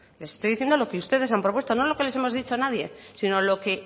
les estoy diciendo lo que ustedes han propuesto no lo que les hemos dicho nadie sino lo que